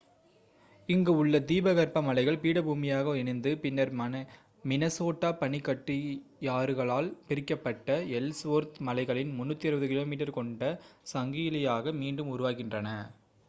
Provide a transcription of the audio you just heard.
இங்கு உள்ள தீபகற்ப மலைகள் பீடபூமியாக இணைந்து பின்னர் மினசோட்டா பனிக்கட்டியாறுகளால் பிரிக்கப்பட்ட எல்ஸ்வொர்த் மலைகளின் 360 km கொண்ட சங்கிலியாக மீண்டும் உருவாகின்றன